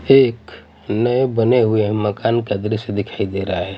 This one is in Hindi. एक नए बने हुए मकान का दृश्य दिखाई दे रहा है.